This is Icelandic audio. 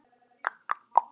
Svíar héldu í